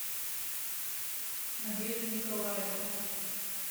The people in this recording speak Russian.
надежду николаевну